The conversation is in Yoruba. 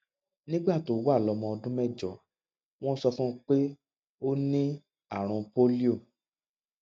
nígbà tó wà lómọ ọdún mẹjọ wón sọ fún un pé ó ní àrùn pólíò